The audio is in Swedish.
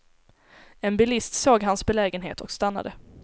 En bilist såg hans belägenhet och stannade.